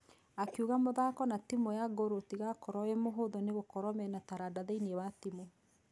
Akiuga mũthako na timũ ya gor ũtigakorwo wimũhũthũ nĩgũkorwo mena taranda thĩinĩ wa timũ.